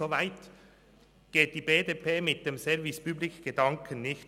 Soweit geht die BDP mit dem Service-public-Gedanken nicht.